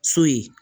So ye